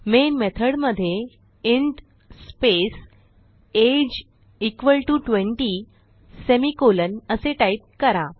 main method मध्ये int age is equal to 20 semi colon असे type करा